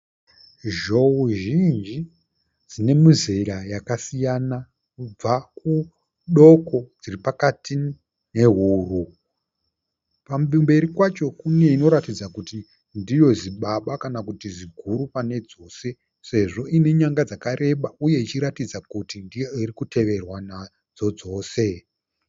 Zhou zhinji dzine mizera yakasiyana kubva kudoko, dziripakati nehuru. Kumberi kwacho kune inoratidza kuti ndiyo zibaba kana kuti ziguru pane dzose sezvo ine nyanga dzakareba uye ichiratidza kuti ndiyo irikuteverwa nadzo dzose.